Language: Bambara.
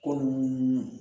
Ko nunnu